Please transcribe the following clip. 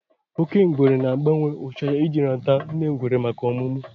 Oke ngwere na-agbanwe ụcha ahụ ya iji rata nne ngwere maka ọmụmụ